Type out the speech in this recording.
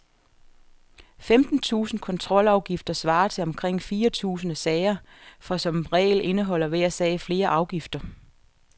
Femten tusinde kontrolafgifter svarer til omkring fire tusinde sager, for som regel indeholder hver sag flere afgifter.